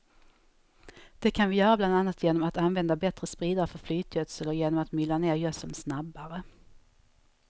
Det kan vi göra bland annat genom att använda bättre spridare för flytgödsel och genom att mylla ned gödseln snabbare.